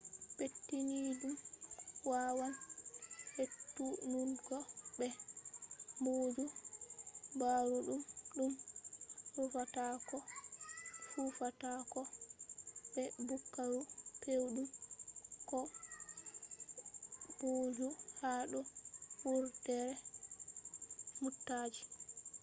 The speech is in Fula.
pettiniiɗum wawan hetunungo be booju ɓaruuɗum ɗum rufata ko fufata ko be buhaaru pewɗum ko booju ha do wurdere mootaji